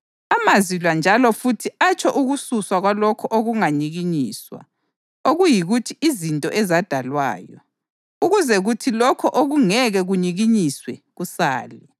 Amazwi la “njalo futhi” atsho ukususwa kwalokho okunganyikinyiswa, okuyikuthi izinto ezadalwayo, ukuze kuthi lokho okungeke kunyikinyiswe kusale.